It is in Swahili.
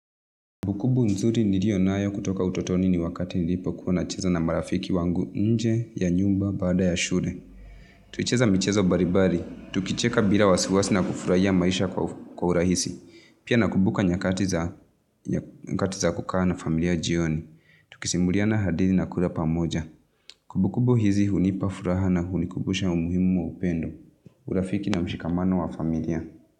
Kumbukumbu nzuri nilionayo kutoka utotoni ni wakati nilipokuwa na cheza na marafiki wangu nje ya nyumba baada ya shule. Tulicheza mchezo baribari. Tukicheka bila wasiwasi na kufurahia maisha kwa urahisi. Pia na kubuka nyakati za kuka na familia jioni. Tukisimuliana hadithi na kula pamoja. Kumbukumbu hizi hunipa furaha na hunikubusha umuhimu wa upendo. Urafiki na mshikamano wa familia.